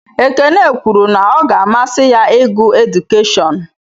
Ekene kwuru na ọ ga-amasị ya ịgụ edukeshọn.